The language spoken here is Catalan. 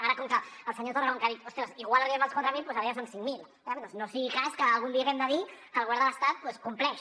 ara com que el senyor torra ha dit ostres igual arribem als quatre mil doncs ara ja són cinc mil eh no sigui cas que algun dia haguem de dir que el govern de l’estat doncs compleix